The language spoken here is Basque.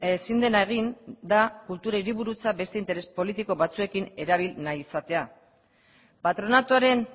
ezin dena egin da kultura hiriburutza beste interes politiko batzuekin erabil nahi izatea patronatuaren